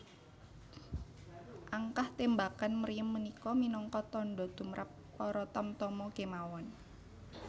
Angkah témbakan mriem punika minangka tandha tumrap para tamtama kémawon